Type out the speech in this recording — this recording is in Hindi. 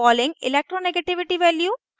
pauling electronegativity value